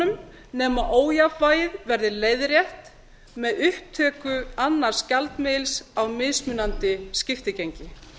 kreppuhjólförunum nema ójafnvægið verði leiðrétt með upptöku annars gjaldmiðils á mismunandi skiptigengi